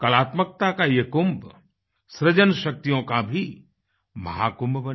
कलात्मकता का ये कुंभ सृजन शक्तियों का भी महाकुंभ बने